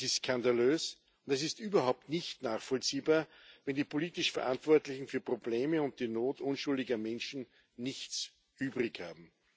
Das ist skandalös, und es ist überhaupt nicht nachvollziehbar, wenn die politisch Verantwortlichen für die Probleme und die Not unschuldiger Menschen nichts übrig haben.